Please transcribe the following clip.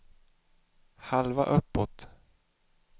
halva uppåt